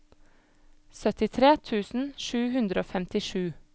syttitre tusen sju hundre og femtisju